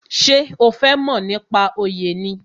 Ṣé o fẹ mo nípa oyè ni?